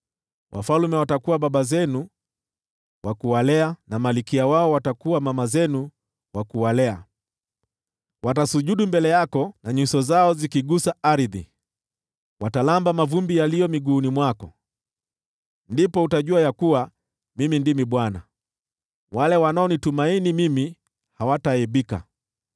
Wafalme watakuwa baba zenu wa kuwalea, na malkia wao watakuwa mama zenu wa kuwalea. Watasujudu mbele yako nyuso zao zikigusa ardhi; wataramba mavumbi yaliyo miguuni mwako. Ndipo utajua ya kuwa Mimi ndimi Bwana ; wale wanaonitumaini mimi hawataaibika.”